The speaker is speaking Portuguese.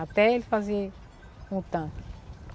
Até ele fazer um tanque.